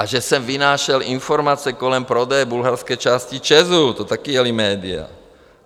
A že jsem vynášel informace kolem prodeje bulharské části ČEZ, to taky jela média.